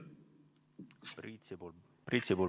Priit Sibul, palun!